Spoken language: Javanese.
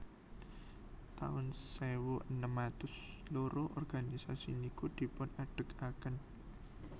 taun sewu enem atus loro organisasi niku dipun adegaken